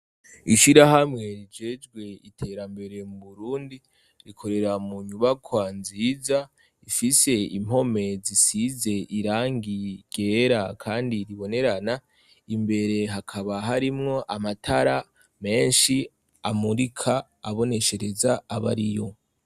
Ishirahamwe rijejwe iterambere mu burundi rikorera mu nyubakwa nziza ifise impome zisize irangi ryera kandi ribonerana imbere hakaba harimwo amatara menshi amurika aboneshereza abariyo.